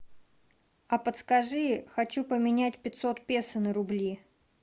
а подскажи хочу поменять пятьсот песо на рубли